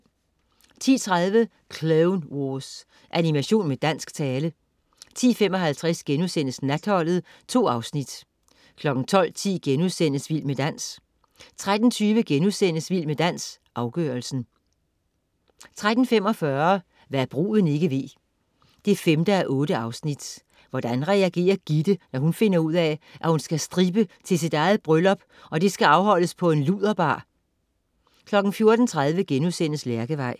10.30 Clone Wars. Animation med dansk tale 10.55 Natholdet.* 2 afsnit 12.10 Vild med dans* 13.20 Vild med dans, afgørelsen* 13.45 Hva' bruden ikke ved 5:8. Hvordan reagerer Gitte, når hun finder ud af, at hun skal strippe til sit eget bryllup, og det skal afholdes på en luderbar? 14.30 Lærkevej*